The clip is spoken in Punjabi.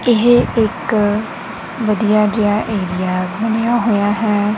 ਇਹ ਇੱਕ ਵਧੀਆ ਜਿਹਾ ਏਰੀਆ ਬਣਿਆ ਹੋਇਆ ਹੈ।